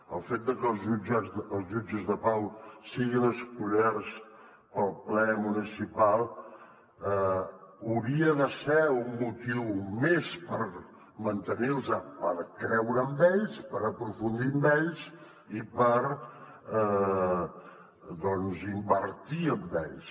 el fet de que els jutges de pau siguin escollits pel ple municipal hauria de ser un motiu més per mantenir los per creure en ells per aprofundir en ells i per doncs invertir en ells